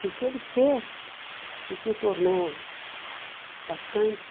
E o que ele fez e que o tornou bastante...